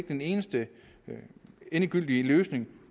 den eneste endegyldige løsning